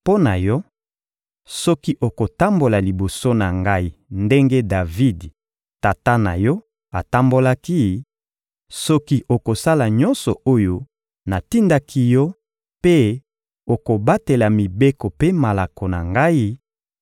Mpo na yo, soki okotambola liboso na Ngai ndenge Davidi, tata na yo, atambolaki; soki okosala nyonso oyo natindaki yo mpe okobatela mibeko mpe malako na Ngai,